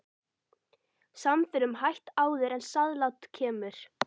Samförum hætt áður en sáðlát kemur.